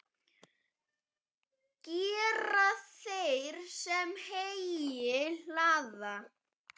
Gera þeir, sem heyi hlaða.